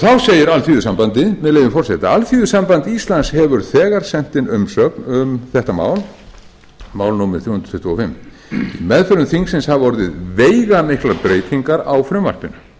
þá segir alþýðusambandið með leyfi forseta alþýðusamband íslands hefur þegar sent inn umsögn um mál þrjú hundruð tuttugu og fimm í meðförum þingsins hafa orðið veigamiklar breytingar á frumvarpinu